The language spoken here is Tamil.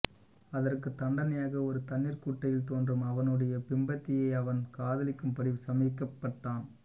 அதற்குத் தண்டனையாக ஒரு தண்ணீர் குட்டையில் தோன்றும் அவனுடைய பிம்பத்தையே அவன் காதலிக்கும்படி சபிக்கப்பட்டான்